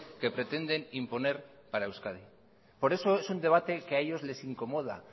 que pretenden imponer para euskadi por eso es un debate que a ellos les incomoda